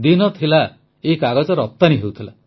ଦିନ ଥିଲା ଏହି କାଗଜ ରପ୍ତାନୀ ହେଉଥିଲା